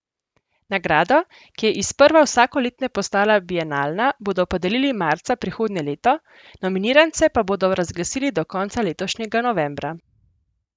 Nagrado, ki je iz sprva vsakoletne postala bienalna, bodo podelili marca prihodnje leto, nominirance pa bodo razglasili do konca letošnjega novembra.